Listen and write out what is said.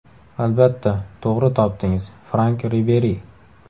Albatta, to‘g‘ri topdingiz Frank Riberi.